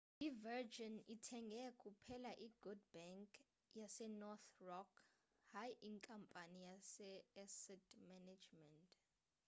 i-virgin ithenge kuphela i'good bank' yasenorthern rock hayi inkampani ye-asset management